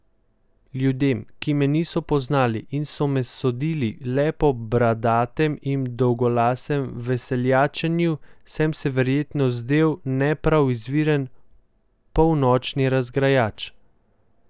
Ljudem, ki me niso poznali in so me sodili le po bradatem in dolgolasem veseljačenju, sem se verjetno zdel ne prav izviren polnočni razgrajač.